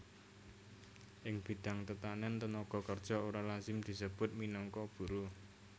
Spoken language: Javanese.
Ing bidang tetanèn tenaga kerja ora lazim disebut minangka buruh